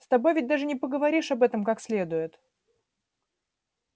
с тобой ведь даже не поговоришь об этом как следует